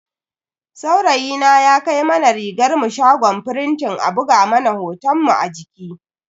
Saurayina ya kai mana rigarmu shagon firintin a buga mana hotonmu a jiki.